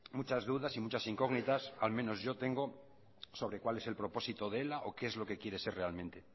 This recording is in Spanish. muchas dudas y muchas incógnitas al menos yo tengo sobre cuál es el propósito de ela o qué es lo que quiere ser realmente